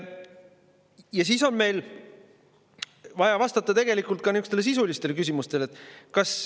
Ja siis on meil tegelikult vaja vastata ka sisulistele küsimustele.